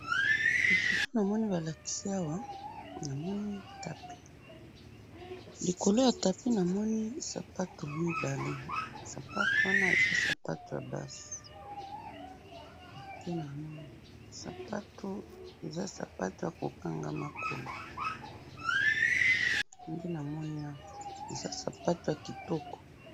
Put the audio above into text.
Na foto namoni balakisi awa, namoni tapis, likolo ya tapis namoni sapato mibale, basapato wana eza sapato yabasi, nde namoni, sapato, eza sapatu yako kanga makolo, nde namoni awa, eza sapatu ya kitoko.